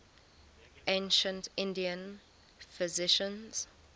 ancient indian physicians